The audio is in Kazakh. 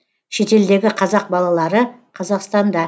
шетелдегі қазақ балалары қазақстанда